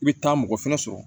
I bɛ taa mɔgɔ fɛnɛ sɔrɔ